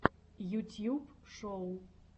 ютьюб шоу